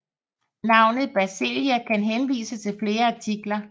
Navnet Basileia kan henvise til flere artikler